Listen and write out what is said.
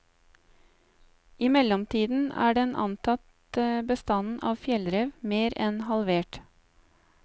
I mellomtiden er den antatte bestanden av fjellrev mer enn halvert.